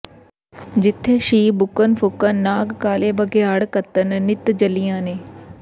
ਜਿੱਥੇ ਸ਼ੀਂਹ ਬੁੱਕਣ ਫੂਕਣ ਨਾਗ ਕਾਲੇ ਬਘਿਆੜ ਘੱਤਨ ਨਿਤ ਜੱਲੀਆਂ ਨੇ